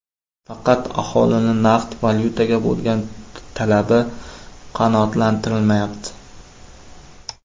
Faqat aholining naqd valyutaga bo‘lgan talabi qanoatlantirilmayapti.